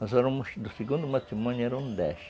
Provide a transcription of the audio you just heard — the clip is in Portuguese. Nós éramos... No segundo matrimônio, éramos dez.